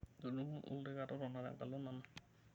Tudumu olorika totona tenkalo nanu.